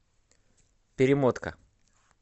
перемотка